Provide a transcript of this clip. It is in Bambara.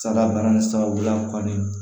Salabana ni sababuya kɔni